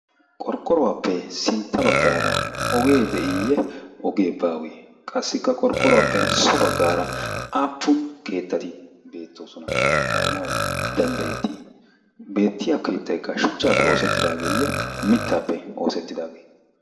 qorqqoruwaappe sintta baggaara ogee de'iiyye ogee baawee qassikka qorqqoruwaappe so baggaara appun keettati beettoosona gaanawu danddayettii beettiya keettaykka shuchchaappe oosettidaageeyye mittaappe oosettidaagee